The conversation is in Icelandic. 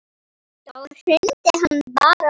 Og þá hrundi hann bara.